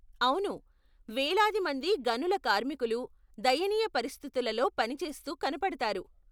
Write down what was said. అవును, వేలాది మంది గనుల కార్మికులు దయనీయ పరిస్థితులల్లో పనిచేస్తూ కనపడతారు.